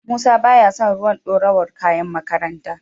Musa baya son ruwan dorawar kayan makaranta.